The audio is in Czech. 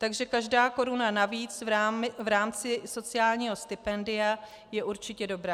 Takže každá koruna navíc v rámci sociálního stipendia je určitě dobrá.